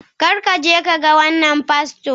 kar ka je ka ga wannan fasto!